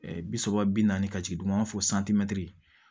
bi saba bi naani ka jigin dun an b'a fɔ